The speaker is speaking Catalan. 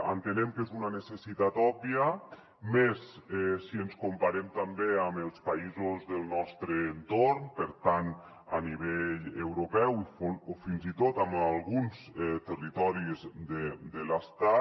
entenem que és una necessitat òbvia més si ens comparem també amb els països del nostre entorn a nivell europeu o fins i tot amb alguns territoris de l’estat